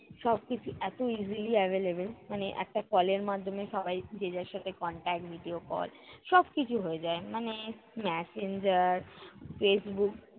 সবকিছু এত easily availlable মানে একটা call এর মাধ্যমে সবাই যে যার সাথে contact, video call সবকিছু হয়ে যায়। মানে Messenger, Facebook